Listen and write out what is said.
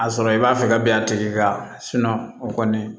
A sɔrɔ i b'a fɛ ka bin a tigi kan o kɔni